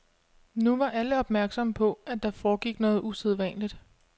Nu var alle opmærksomme på, at der foregik noget usædvanligt.